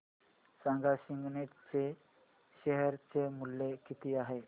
सांगा सिग्नेट चे शेअर चे मूल्य किती आहे